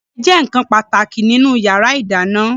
Ọ̀bẹ jẹ́ nkan pàtàkì nínú yàrá ìdáná